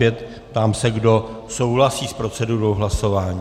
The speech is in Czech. Ptám se, kdo souhlasí s procedurou hlasování.